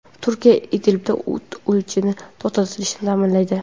Turkiya Idlibda o‘t ochishni to‘xtatishni ta’minlaydi.